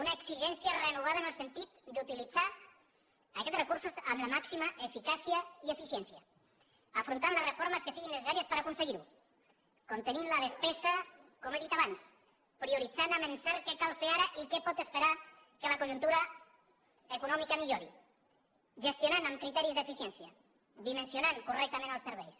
una exigència renovada en el sentit d’utilitzar aquests recursos amb la màxima eficàcia i eficiència afrontant les reformes que siguin necessàries per aconseguir ho contenint la despesa com he dit abans prioritzant amb encert què cal fer ara i què pot esperar que la conjuntura econòmica millori gestionant amb criteris d’eficiència dimensionant correctament els serveis